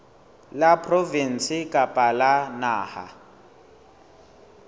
la provinse kapa la naha